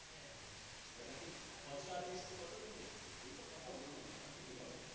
যখন হটস্টারে এসেছে কতজন দেখেছে এসব কথা বলো না ঠিক আছে